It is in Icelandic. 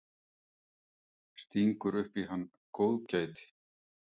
Stingur upp í hann góðgæti.